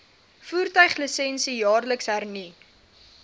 voertuiglisensie jaarliks hernu